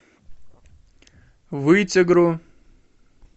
вытегру